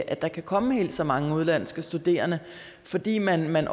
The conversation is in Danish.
at der kan komme helt så mange udenlandske studerende fordi man man